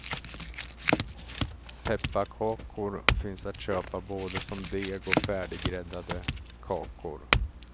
Pepparkakor finns att köpa både som deg och färdiggräddade kakor.